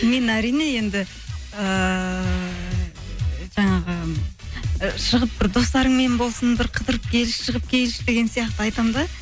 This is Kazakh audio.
мен әрине енді ыыы жаңағы і шығып бір достарыңмен болсын бір қыдырып келші шығып келші деген сияқты айтамын да